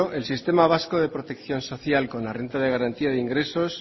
el sistema vasco de protección social con la renta de garantía de ingresos